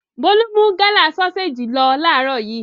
Bólú mú Gala sọ́séjì lọ láàárọ̀ yìí.